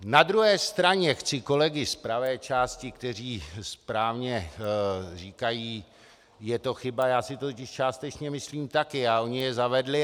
Na druhé straně chci kolegy z pravé části, kteří správně říkají, je to chyba, já si to totiž částečně myslím taky, a oni je zavedli.